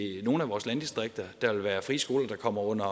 nogle af vores landdistrikter at der vil være frie skoler der kommer under